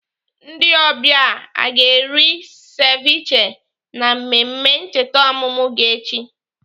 Ndị ọbịa a ga-eri seviche na mmemme ncheta ọmụmụ gị echi?